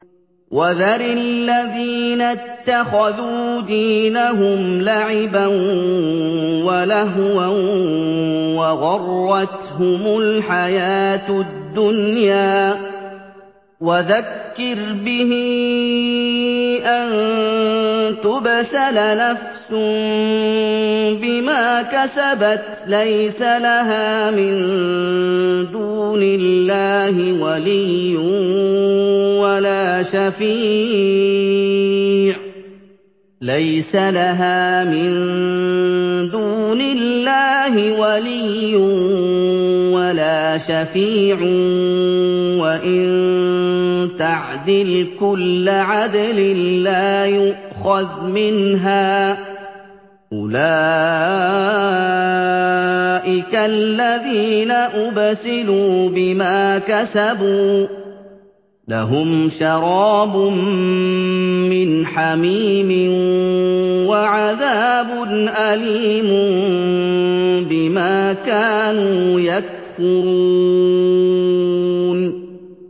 وَذَرِ الَّذِينَ اتَّخَذُوا دِينَهُمْ لَعِبًا وَلَهْوًا وَغَرَّتْهُمُ الْحَيَاةُ الدُّنْيَا ۚ وَذَكِّرْ بِهِ أَن تُبْسَلَ نَفْسٌ بِمَا كَسَبَتْ لَيْسَ لَهَا مِن دُونِ اللَّهِ وَلِيٌّ وَلَا شَفِيعٌ وَإِن تَعْدِلْ كُلَّ عَدْلٍ لَّا يُؤْخَذْ مِنْهَا ۗ أُولَٰئِكَ الَّذِينَ أُبْسِلُوا بِمَا كَسَبُوا ۖ لَهُمْ شَرَابٌ مِّنْ حَمِيمٍ وَعَذَابٌ أَلِيمٌ بِمَا كَانُوا يَكْفُرُونَ